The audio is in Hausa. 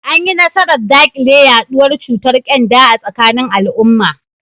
An yi nasarar dakile yaduwar cutar kyanda a tsakanin al’umma.